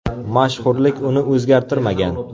Mashhurlik uni o‘zgartirmagan.